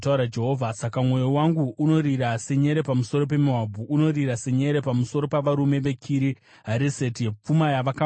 “Saka mwoyo wangu unorira senyere pamusoro peMoabhu; unorira senyere pamusoro pavarume veKiri Hareseti. Pfuma yavakawana yapera.